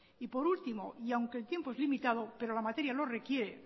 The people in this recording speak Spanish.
y por último y aunque el tiempo es limitado pero la materia lo requiere